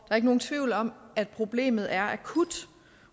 er ikke nogen tvivl om at problemet er akut